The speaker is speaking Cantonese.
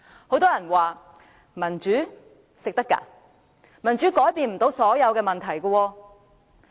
很多人說，民主不能當飯吃，而且民主無法解決所有問題。